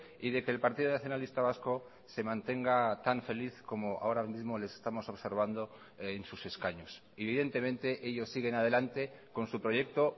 y de que el partido nacionalista vasco se mantenga tan feliz como ahora mismo les estamos observando en sus escaños evidentemente ellos siguen adelante con su proyecto